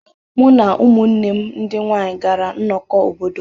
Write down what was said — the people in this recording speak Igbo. Mụ na ụmụnne m ndị nwanyị gara nnọkọ obodo.